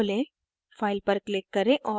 inkscape खोलें